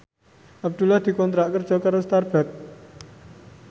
Abdullah dikontrak kerja karo Starbucks